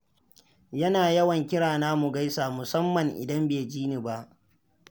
Yana yawan kira na, mu gaisa, musamman idan bai ji ni ba.